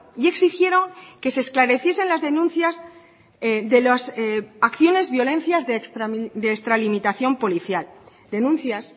y exigieron que se esclareciesen las denuncias de las acciones violencias de extralimitación policial denuncias